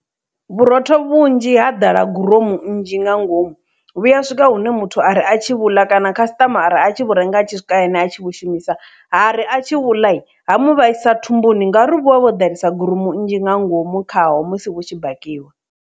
Vhurotho vhunzhi ha ḓala guronu nnzhi nga ngomu vhuya a swika hune muthu a re a tshi vhuḽa kana khasitama mara a tshi khou renga a tshi swika hayani a tshi khou shumisa hari a tshi vhuḽa ha mu vhaisa thumbuni ngauri vha vha vho ḓalesa guromu nnzhi nga ngomu khaho musi hu tshi bikiwa.